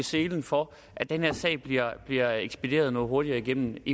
selen for at den her sag bliver bliver ekspederet noget hurtigere igennem